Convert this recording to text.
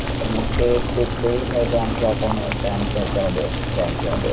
हा मग ते फायदे आमच्या अकाउंट, आमच्या बँकेमध्ये आहे